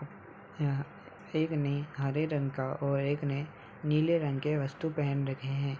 यहां एक ने हरे रंग का और एक ने नीले रंग के वस्तु पहन रखे है।